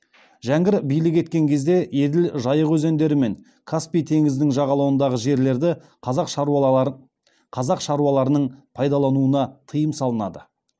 жәңгір билік еткен кезде еділ жайық өзендері мен каспий теңізінің жағалауындағы жерлерді қазақ шаруаларының пайдалануына тиым салынады